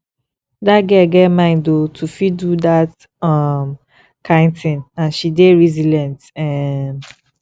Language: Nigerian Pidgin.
dat girl get mind oo to fit do dat um kin thing and she dey resilient um